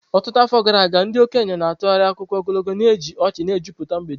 Ọtụtụ afọ gara aga, ndị okenye na-atụgharị akụkọ ogologo, na-eji ọchị na-ejupụta mgbede.